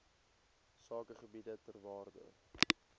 sakegebiede ter waarde